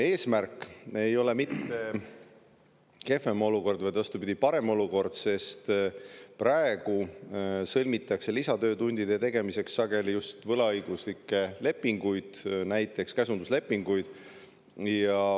Eesmärk ei ole mitte kehvem olukord, vaid vastupidi, parem olukord, sest praegu sõlmitakse lisatöötundide tegemiseks sageli just võlaõiguslikke lepinguid, näiteks käsunduslepinguid.